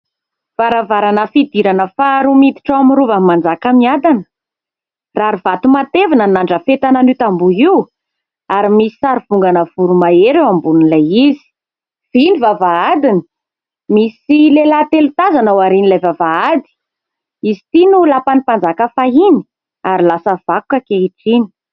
Varavarana fidirana faharoa miditra ao amin'ny Rovan'i Manjakamiadana, rary vato matevina ny nandrafetana an'io tamboho io ary misy sarivongana voromahery eo ambonin'ilay izy, vy ny vavahadiny, misy lehilahy telo tazana aorian'ilay vavahady, izy ity no lapan'ny mpanjaka fahiny ary lasa vakoka ankehitriny.